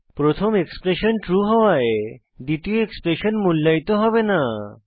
প্রথম expression true হওয়ায় দ্বিতীয় এক্সপ্রেশন মূল্যায়িত হবে না